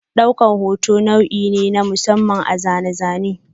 Daukar hoto abu ne na masamman a zane-zane.